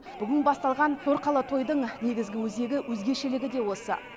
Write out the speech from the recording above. бүгін басталған торқалы тойдың негізгі өзегі өзгешелігі де осы